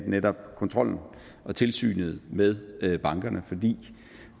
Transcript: netop kontrollen og tilsynet med bankerne fordi